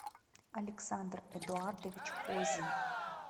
александр эдуардович козин